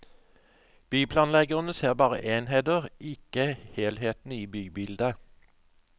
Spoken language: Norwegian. Byplanleggerne ser bare enheter, ikke helheten i bybildet.